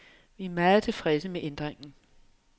Vi er meget tilfredse med ændringen.